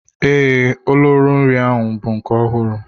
Ee, ololo nri ahụ bụ nke ọhụrụ.